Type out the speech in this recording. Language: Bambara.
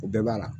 O bɛɛ b'a la